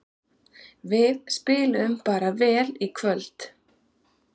Við spiluðum bara vel í kvöld